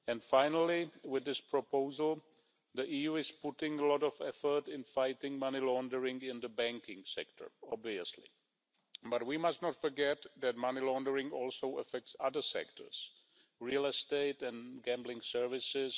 Finally, with this proposal, the EU is obviously putting a lot of effort into fighting money laundering in the banking sector, but we must not forget that money laundering also affects other sectors, for example real estate and gambling services.